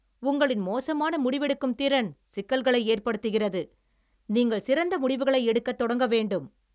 உங்களின் மோசமான முடிவெடுக்கும் திறன் சிக்கல்களை ஏற்படுத்துகிறது, நீங்கள் சிறந்த முடிவுகளை எடுக்கத் தொடங்க வேண்டும்.